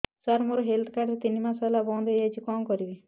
ସାର ମୋର health card ତିନି ମାସ ହେଲା ବନ୍ଦ ହେଇଯାଇଛି କଣ କରିବି